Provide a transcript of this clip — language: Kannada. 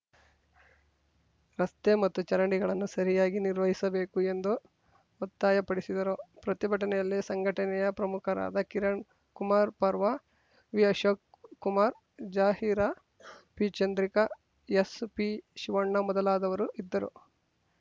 ರಸ್ತೆ ಮತ್ತು ಚರಂಡಿಗಳನ್ನು ಸರಿಯಾಗಿ ನಿರ್ವಹಿಸಬೇಕು ಎಂದು ಒತ್ತಾಯಪಡಿಸಿದರು ಪ್ರತಿಭಟನೆಯಲ್ಲಿ ಸಂಘಟನೆಯ ಪ್ರಮುಖರಾದ ಕಿರಣ್‌ ಕುಮಾರ್‌ ಪರ್ವಾ ವಿಅಶೋಕ್‌ ಕುಮಾರ್‌ ಜಾಹೀರಾ ಪಿಚಂದ್ರಿಕಾ ಎಸ್‌ಪಿಶಿವಣ್ಣ ಮೊದಲಾದವರು ಇದ್ದರು